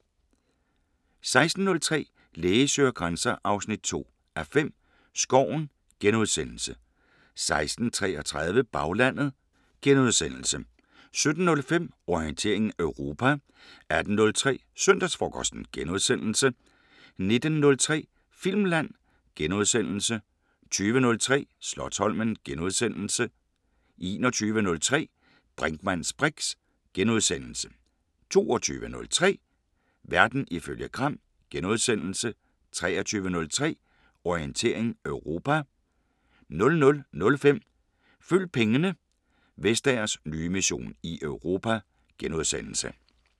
16:03: Læge søger grænser 2:5 – Skoven * 16:33: Baglandet * 17:05: Orientering Europa 18:03: Søndagsfrokosten * 19:03: Filmland * 20:03: Slotsholmen * 21:03: Brinkmanns briks * 22:03: Verden ifølge Gram * 23:03: Orientering Europa 00:05: Følg pengene: Vestagers nye mission i Europa *